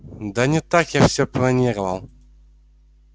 да не так я всё планировал